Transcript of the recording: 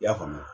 I y'a faamu